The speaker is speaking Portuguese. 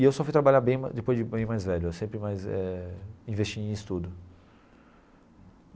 E eu só fui trabalhar bem depois de bem mais velho, eu sempre mais eh investi em estudo.